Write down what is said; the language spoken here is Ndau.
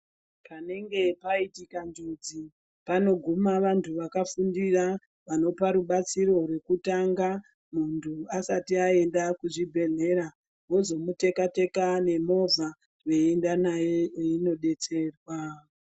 Panenge paitika njodzi panoguma vantu vakafundira, vanopa rubatsiro rwekutanga, muntu asati aenda kuzvibhehlera, vozomuteka-teka nemovha veienda naye eindodetserwa.